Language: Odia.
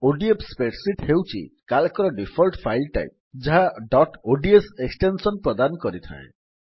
ଓଡିଏଫ୍ ସ୍ପ୍ରେଡସିଟ୍ ହେଉଛି Calcର ଡିଫଲ୍ଟ ଫାଇଲ୍ ଟାଇପ୍ ଯାହା ଡଟ୍ ଓଡିଏସ ଏକ୍ସଟେନ୍ସନ୍ ପ୍ରଦାନ କରିଥାଏ